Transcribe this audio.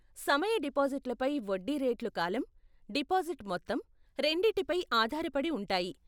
సమయ డిపాజిట్లపై వడ్డీ రేట్లు కాలం, డిపాజిట్ మొత్తం, రెండిటిపై ఆధారపడి ఉంటాయి.